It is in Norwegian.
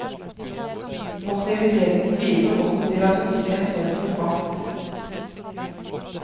Passiviteten bidro også til at hun fikk en form for makt.